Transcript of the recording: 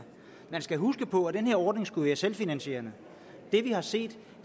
man skal huske på at den her ordning skulle være selvfinansierende det vi har set